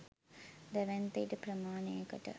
දැවැන්ත ඉඩ ප්‍රමාණයකට